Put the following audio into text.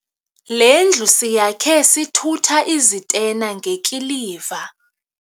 Le ndlu siyakhe sithutha izitena ngekiliva.